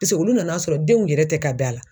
olu nan'a sɔrɔ denw yɛrɛ ti ka bɛn a la.